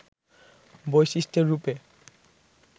বৈশিষ্ট্য রূপে